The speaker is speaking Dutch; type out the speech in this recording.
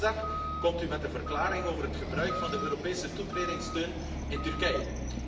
Morgen, woensdag, komt u met een verklaring over het gebruik van de Europese toetredingssteun in Turkije.